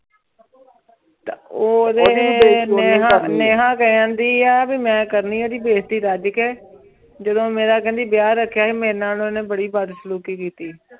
ਊ ਜੇ ਨੈਨਾ ਕਹਨ ਦੀ ਆ ਭੀ ਮੈਂ ਕਰਨੀ ਓੜੀ ਬੇਜ਼ਾਤੀ ਰਾਜ ਕੇ ਜਦੋਂ ਮੇਰਾ ਕੇਹ੍ਨ੍ਦੀ ਵਿਯਾਹ ਰਖ੍ਯਾ ਜੀ ਕ੍ਮੇਰਾਯ ਨਾਲ ਓਨੇ ਬਾਰੀ ਬਦਤਮੀਜ਼ੀ ਕੀਤੀ